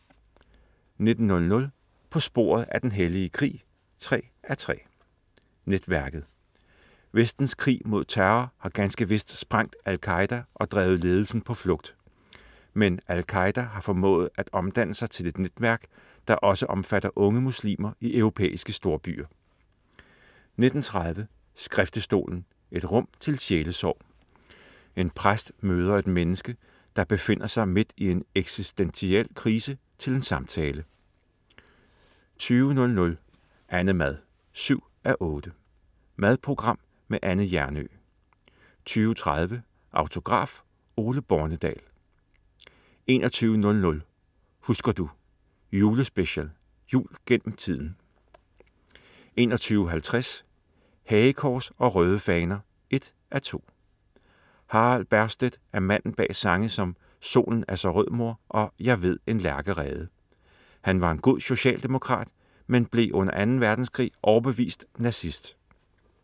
19.00 På sporet af den hellige krig 3:3. Netværket. Vestens krig mod terror har ganske vist sprængt Al Qaeda og drevet ledelsen på flugt. Men Al Qaeda har formået at omdanne sig til et netværk, der også omfatter unge muslimer i europæiske storbyer 19.30 Skriftestolen, et rum til sjælesorg. En præst møder et menneske, der befinder sig midt i en eksistentiel krise, til en samtale 20.00 Annemad 7:8. Madprogram med Anne Hjernøe 20.30 Autograf: Ole Bornedal* 21.00 Husker du? Julespecial. Jul gennem tiden 21.50 Hagekors og Røde Faner 1:2. Harald Bergstedt er manden bag sange som "Solen er så rød, mor" og "Jeg ved en lærkerede". Han var en god Socialdemokrat, men blev under Anden Verdenskrig overbevist nazist